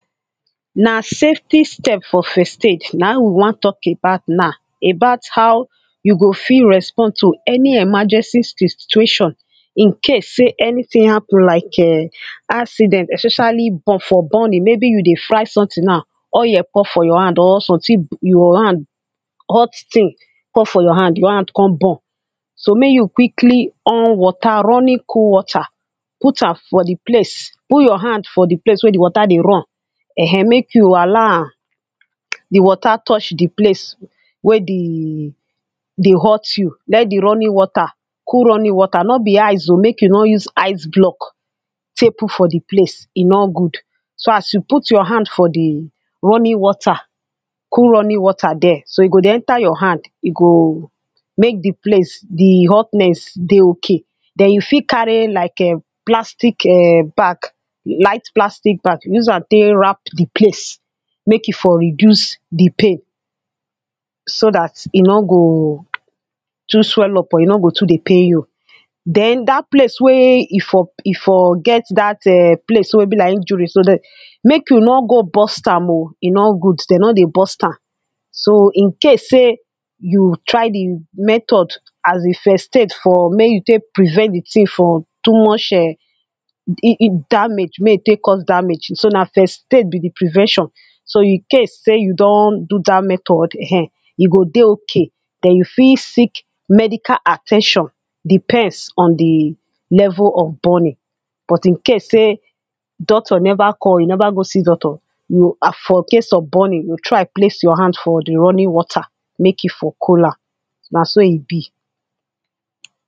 Na safty steps for first aid, na im we wan talk about now About how you go fit respond to any emergency si situation. In case sey anything happen like um accident especially bur for burning. Maybe you dey fry something now oiyel pour for your hand or something your hand hot thing pour for your hand, your hand con burn. So, make you quickly on water, running cool water. put am for the place. Put your hand for the place wey the water dey run. um make you allow am the water touch the place wey the dey hot you. Let the running water cool running water. No be ice oh. Make you no use ice block take put for the place. E no good. So as you put your hand for the running water, cool running water there. So, e go dey enter your hand. E go make the place, the hotness dey okay. Den you fit carry like um plastic um bag. lite plastic bag. Use am take wrap the place. Make e for reduce the pain. So dat e no go too swell up or e no go too dey pain you. Den dat place wey e for e for get dat um place wey be like injury so de, make you no go burst am oh. E no good. Dem no dey burst am So, in case sey you try the method, as the first aid for make you take prevent the thing from too much um damage. Mey e take cause damage. So na first aid be the prevention. So in case say you don do dat method um, e go dey okay. Den you fit seek medical at ten tion depends on the level of burning. But in case sey doctor never call, you never go see doctor. you for case of burning, you try place your hand for the running water. make e for cool am. Na so e be.